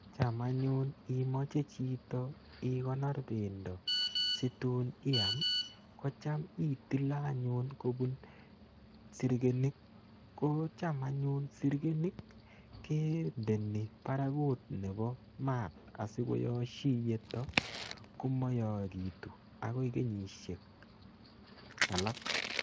Cham anyun imache chito ikonor pendo si tun iam, ko cham itile anyun kopun sirkenit. Ko cham anyun sirkenit kendeni parak nepo maat asikoyashi iyeto ko mayakitu akoi kenyishek alak.